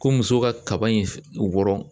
Ko musow ka kaba in wɔrɔn